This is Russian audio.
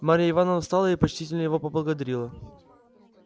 марья ивановна встала и почтительно его поблагодарила